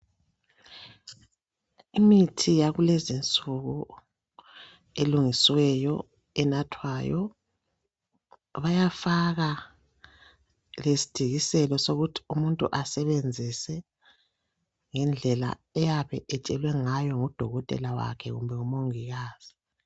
Imithi yakulezinsuku elungisiweyo enathwayo bayafaka lesidikiselo sokuthi umuntu asebenzise ngendlela ayabe etshelwe ngayo ngudokotela wakhe kumbe ngomongikazi